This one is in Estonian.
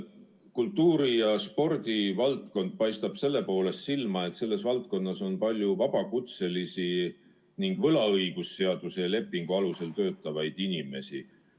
Kultuuri- ja spordivaldkond paistab silma selle poolest, et selles valdkonnas on palju vabakutselisi ning võlaõigusliku lepingu alusel töötavaid inimesi.